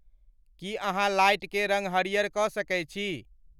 की अहाँलाइट के रंग हरियर क सके छी